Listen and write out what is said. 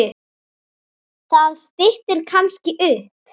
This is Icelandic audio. Það styttir kannski upp.